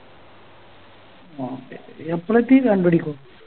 Okay എപ്പളെത്തി രണ്ട് മണിക്കോ